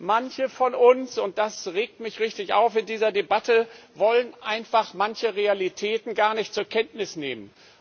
Manche von uns und das regt mich richtig auf in dieser Debatte wollen einfach manche Realitäten nicht zur Kenntnis nehmen.